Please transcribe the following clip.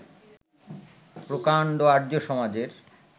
প্রকাণ্ড আর্য্য-সমাজের